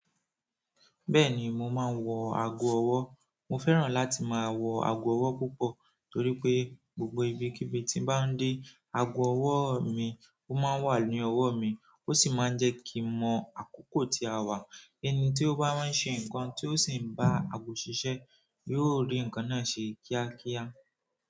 Bẹ́ẹ̀ni mo máa ń wọ ago ọwọ́. Mo fẹ́ràn láti máa wọ ago ọwọ́ púpọ̀ torí pé gbogbo ibi kí ibi tí bá ń dé, ago ọwọ́ mi ó máa ń wà ní ọwọ́ mi. Ó sì máa ń jẹ́ kí n mọ àkókò tí a wá. Ẹni ti o ba wa n se nkan ti o si n ba aago sise, yóò ri nkan náà se kia kia.